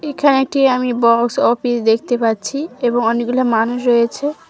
এখানে একটি আমি বক্স অফিস দেখতে পাচ্ছি এবং অনেকগুলো মানুষ রয়েছে।